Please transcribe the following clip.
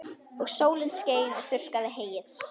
Og sólin skein og þurrkaði heyið.